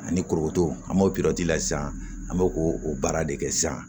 Ani korokoto an b'o sisan an bɛ k'o o baara de kɛ sisan